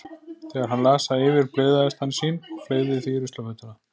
Þegar hann las það yfir blygðaðist hann sín og fleygði því í ruslafötuna.